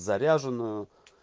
заряженную